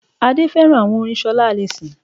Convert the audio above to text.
Adé féràn àwon orin solá allyson